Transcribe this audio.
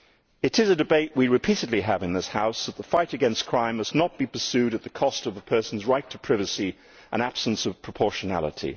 It is a debate we repeatedly have in this House that the fight against crime must not be pursued at the cost of a person's right to privacy and in the absence of proportionality.